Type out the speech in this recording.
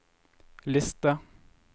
liste